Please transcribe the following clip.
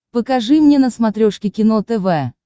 покажи мне на смотрешке кино тв